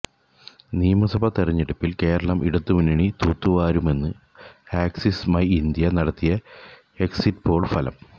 നിയമസഭാ തിരഞ്ഞെടുപ്പില് കേരളം ഇടതു മുന്നണി തൂത്തുവാരുമെന്ന് ആക്സിസ് മൈഇന്ത്യ നടത്തിയ എക്സിറ്റ് പോള് ഫലം